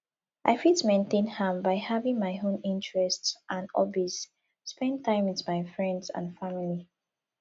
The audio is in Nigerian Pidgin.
i fit maintain am by having my own interests and hobbies spend time with my friends and family